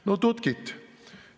No tutkit!